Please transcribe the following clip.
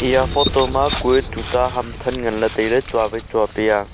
eya photo ma kue tuta ham than ngan le taile chua wai chua pe a.